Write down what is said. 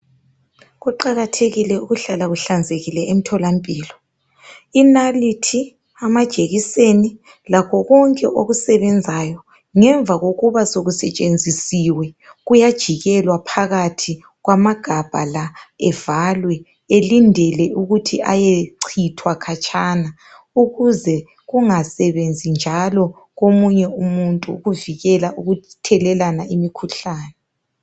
kuqakathekile ukuhlala kuhlanzekile emtholampilo inalithi amajekiseni lakho konke okusebenzayo ngemva kokuba sokusetshenzisiwe kuyajikelwa phakathi kwamagabha la avalwe elindele ukuthi eyecithwa khatshana ukuze kungsebenzi njalo komunye umutnu ukuvikela imkhuhlane